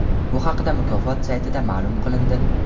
Bu haqda mukofot saytida ma’lum qilindi .